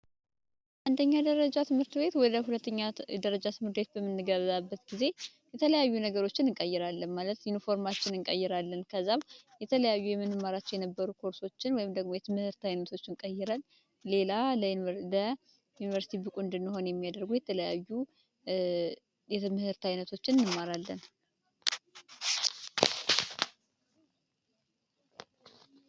አንደኛ ደረጃ ትምህርት ቤት ወደ 2 ኛ ደረጃበት ጊዜ የተለያዩ ነገሮችን እንቀይራለን ማለት ኢንፎርም እንቀይራለን። ከዛ የተለያዩ የነበሩ ኮርሶችን ወይም ደግሞ የትምህርቶችን ቀይ ሌላ ዩኒቨርስ የሚያደርጉ የተለያዩ የትምህርት አይነቶችን እንማራለን።